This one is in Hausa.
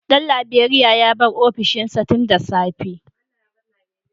Dan Laberiya ya bar ofishinsa tun da safe